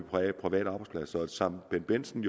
private arbejdspladser som bendt bendtsen